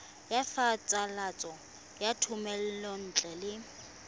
ya phasalatso ya thomelontle le